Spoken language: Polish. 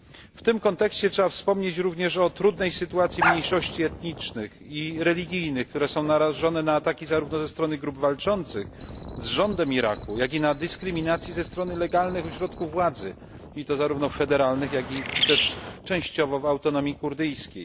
W tym kontekście trzeba wspomnieć również o trudnej sytuacji mniejszości etnicznych i religijnych, które są narażone na ataki zarówno ze strony grup walczących z rządem Iraku, jak i na dyskryminację ze strony legalnych ośrodków władzy, i to zarówno federalnych, jak i też częściowo w Autonomii Kurdyjskiej.